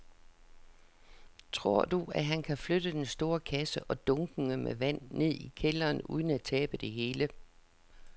Tror du, at han kan flytte den store kasse og dunkene med vand ned i kælderen uden at tabe det hele?